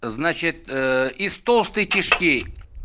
значит из толстой кишки